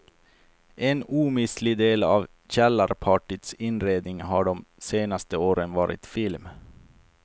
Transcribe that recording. En omistlig del av källarpartyts inredning har de senaste åren varit film.